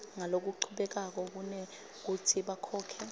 ngalokuchubekako kunekutsi bakhokhe